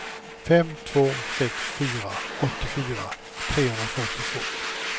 fem två sex fyra åttiofyra trehundrafyrtiotvå